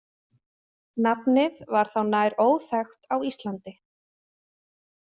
Nafnið var þá nær óþekkt á Íslandi.